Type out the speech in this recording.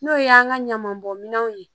N'o ye an ka ɲaman bɔn minɛnw ye